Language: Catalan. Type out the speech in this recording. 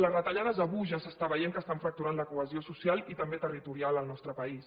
les retallades d’avui ja s’està veient que estan fracturant la cohesió social i també territorial del nostre país